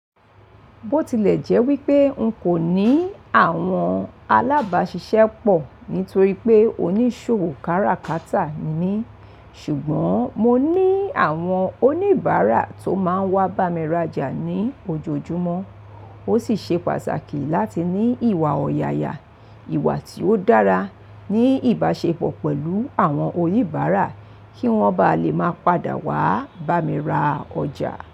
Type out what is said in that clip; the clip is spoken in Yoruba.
Bó tilẹ̀ jẹ́ wípé n kò ní àwọn alábáṣiṣẹ́pọ̀ nítorí pé onísòwò kárakáta ni mi, ṣùgbọ́n mo ní àwọn oníbàárà tó máa ń wá bá mi ra ọjà ní ojoojúmọ́. Ó sì ṣe pàtàkì láti ní ìwà ọ̀yàyà, ìwà tí ó dára, ní ìbáṣepọ̀ pẹ̀lú àwọn oníbàárà kí wọ́n bá lè máa padà wá bá mi ra ọjà.